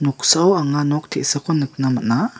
noksao anga nok te·sako nikna man·a.